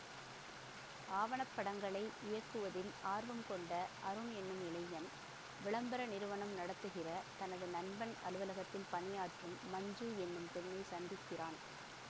ஆவணப்படங்களை இயக்குவதில் ஆர்வம் கொண்ட அருண் என்னும் இளைஞன் விளம்பர நிறுவனம் நடத்துகிற தனது நண்பன் அலுவலகத்தில் பணியாற்றும் மஞ்சு என்னும் பெண்ணைச் சந்திக்கிறான்